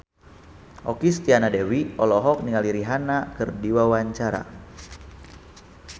Okky Setiana Dewi olohok ningali Rihanna keur diwawancara